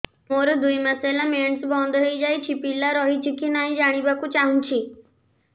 ମୋର ଦୁଇ ମାସ ହେଲା ମେନ୍ସ ବନ୍ଦ ହେଇ ଯାଇଛି ପିଲା ରହିଛି କି ନାହିଁ ଜାଣିବା କୁ ଚାହୁଁଛି